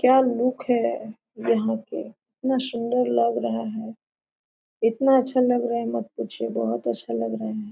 क्या लुक है यहां पे इतना सुन्दर लग रहा है इतना अच्छा लग रहा है मत पूछिए बहुत अच्छा लग रहा है।